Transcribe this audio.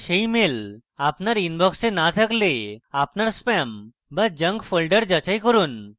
সেই mail আপনার inbox এ না থাকলে আপনার spam বা junk folders যাচাই করুন